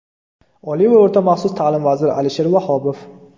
Oliy va o‘rta maxsus ta’lim vaziri Alisher Vahobov.